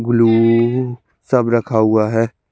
गुलू सब रखा हुआ है।